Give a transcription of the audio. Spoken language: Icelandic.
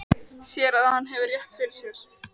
Sér að hann hefur rétt fyrir sér.